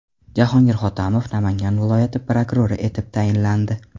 Jahongir Hotamov Namangan viloyati prokurori etib tayinlandi.